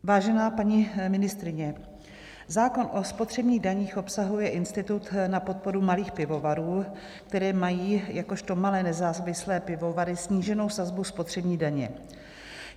Vážená paní ministryně, zákon o spotřebních daních obsahuje institut na podporu malých pivovarů, které mají jakožto malé nezávislé pivovary sníženou sazbu spotřební daně.